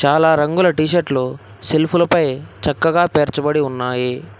చాలా రంగుల టీషర్టు లు సెల్ఫ్ లపై చక్కగా పేర్చబడి ఉన్నాయి.